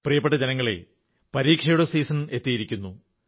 പ്രിയപ്പെട്ട ജനങ്ങളേ പരീക്ഷയുടെ സീസൺ എത്തിയിരിക്കുന്നു